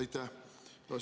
Aitäh!